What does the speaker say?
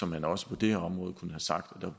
man også på det her område kunne have sagt at der